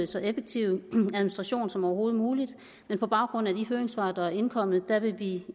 så effektiv administration som overhovedet muligt men på baggrund af de høringssvar der er indkommet vil vi i